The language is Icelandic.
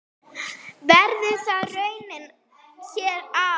Verður það raunin hér á?